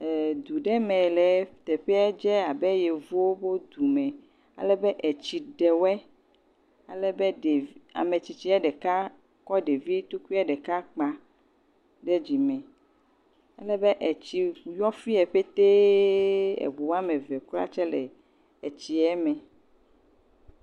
ee Edu ɖe mee le Teƒea dze abe yewuwo ho dume alebe atsi ɖe woe. Alebe dev… Ametsitsia deka kɔ ɖevi tukui ɖeka kpa ɖe dzime alebe atsi yɔ fie petee ebu ameve kra dze le edzie me.